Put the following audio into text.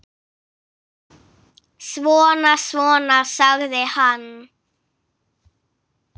Svona, svona, sagði hann.